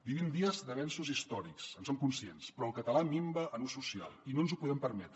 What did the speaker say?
vivim dies d’avenços històrics en som conscients però el català minva en ús social i no ens ho podem permetre